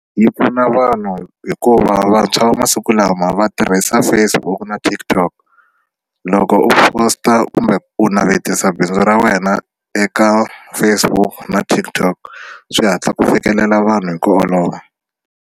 Yi pfuna vanhu hikuva vantshwa va masiku lama va tirhisa Facebook na TikTok loko u post-a kumbe ku navetisa bindzu ra wena eka Facebook na TikTok swi hatla ku fikelela vanhu hi ku olova.